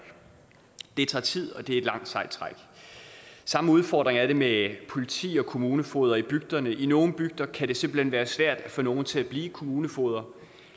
det tager tid og det er et langt sejt træk samme udfordring er det med politi og kommunefogeder i bygderne i nogle bygder kan det simpelt hen være svært at få nogle til at blive kommunefogeder